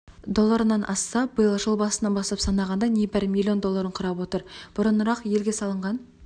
долларынан асса биыл жыл басынан бастап санағанда небәрі миллион долларын құрап отыр бұрынырақ елге салынған